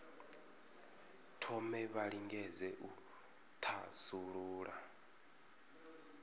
thome vha lingedze u thasulula